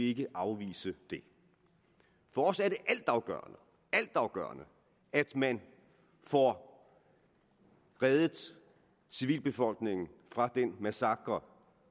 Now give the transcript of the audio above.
ikke afvise det for os er det altafgørende at man får reddet civilbefolkningen fra den massakre